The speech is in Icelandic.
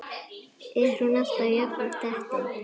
Er hún alltaf jafn dettin?